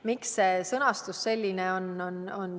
Miks see sõnastus selline on?